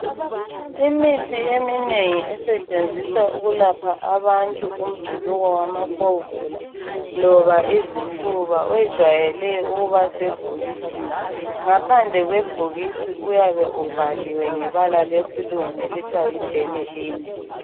Imithi eminengi esetshenziswa ukuyelapha abantu umjuluko wamakhovula loba izifuba wejwayele ukuba sebhokisini. Ngaphandle kwebhokisi uyabe ubhaliwe ngebala lesilungu elithiwa yi benylin.